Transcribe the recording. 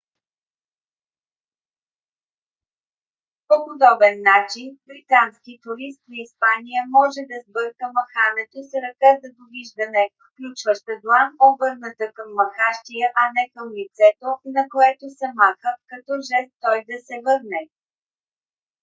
по подобен начин британски турист в испания може да сбърка махането с ръка за довиждане включваща длан обърната към махащия а не към лицето на което се маха като жест той да се върне